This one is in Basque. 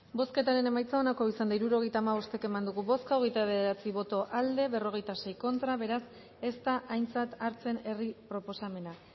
bozketaren emaitza onako izan da hirurogeita hamabost eman dugu bozka hogeita bederatzi boto aldekoa cuarenta y seis contra beraz ez da aintzat hartzen herri proposamena